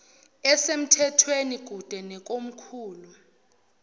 esemthethweni kude nekomkhulu